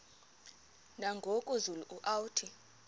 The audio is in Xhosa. nangoku zulu uauthi